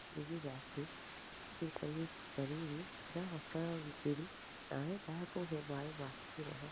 aranjĩrĩre atĩ nĩe ndĩ kaĩretũ kanĩnĩ ndĩrabatara ũgĩtĩrĩ na arendaga kuhe maĩ ma kĩroho"